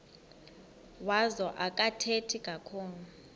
wazo akathethi kakhulu